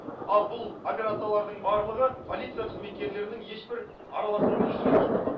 ал бұл операциялардың барлығы полиция қызметкерлерінің ешбір араласуынсыз жүзеге асырылады